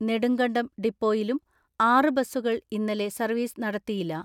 നെടുങ്കണ്ടം ഡിപ്പോയിലും ആറ് ബസ്സുകൾ ഇന്നലെ സർവ്വീസ് നടത്തിയില്ല.